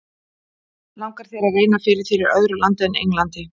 Langar þér að reyna fyrir þér í öðru landi en Englandi?